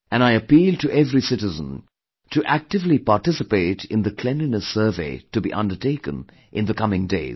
And I appeal to every citizen to actively participate in the Cleanliness Survey to be undertaken in the coming days